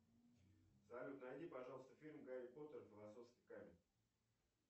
салют найди пожалуйста фильм гарри поттер и философский камень